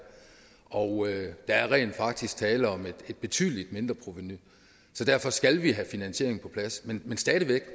og der er rent faktisk tale om et betydeligt mindreprovenu så derfor skal vi have finansieringen på plads men stadig væk